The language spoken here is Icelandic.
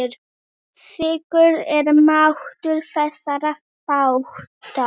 Slíkur er máttur þessara þátta.